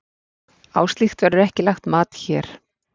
Á slíkt verður ekki lagt mat hér.